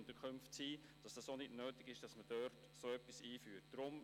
Die Leute sollten also gar nicht mehr so lange in den Asylunterkünften verweilen.